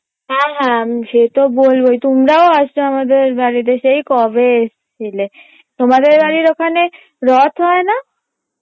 হ্যাঁ হ্যাঁ আমি সে তো বলবই তোমরাও আসবে আমাদের বাড়িতে সেই কবে এসছিলে তোমাদের বাড়ির ওখানে রথ হয় না?